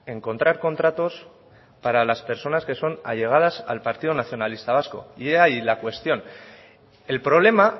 encontrar contratos para las personas que son allegadas al partido nacionalista vasco y ahí la cuestión el problema